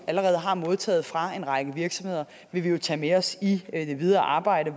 allerede har modtaget fra en række virksomheder vil vi jo tage med os i det videre arbejde